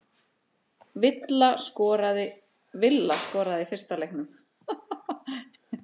Villa skoraði í fyrsta leiknum